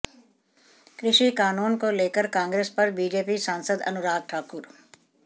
कृषि कानून को लेकर कांग्रेस पर बीजेपी सांसद अनुराग ठाकुर